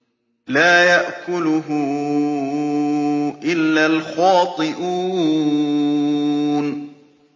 لَّا يَأْكُلُهُ إِلَّا الْخَاطِئُونَ